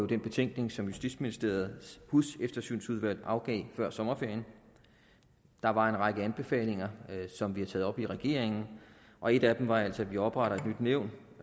den betænkning som justitsministeriets huseftersynsudvalg afgav før sommerferien der var en række anbefalinger som vi har taget op i regeringen og en af dem var altså at vi opretter et nyt nævn